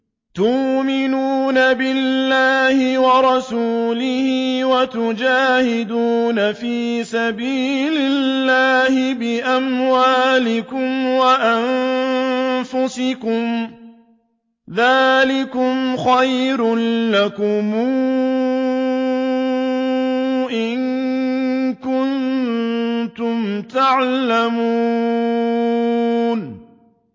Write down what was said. تُؤْمِنُونَ بِاللَّهِ وَرَسُولِهِ وَتُجَاهِدُونَ فِي سَبِيلِ اللَّهِ بِأَمْوَالِكُمْ وَأَنفُسِكُمْ ۚ ذَٰلِكُمْ خَيْرٌ لَّكُمْ إِن كُنتُمْ تَعْلَمُونَ